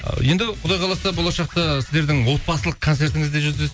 ы енді құдай қаласа болашақта сіздердің отбасылық концертіңізде